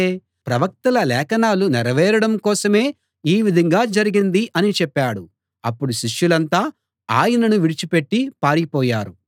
ప్రవక్తల లేఖనాలు నెరవేరడం కోసమే ఈ విధంగా జరిగింది అని చెప్పాడు అప్పుడు శిష్యులంతా ఆయనను విడిచిపెట్టి పారిపోయారు